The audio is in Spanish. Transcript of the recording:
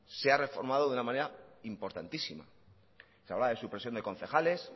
se ha reformado de una manera importantísima se hablaba de supresión de concejales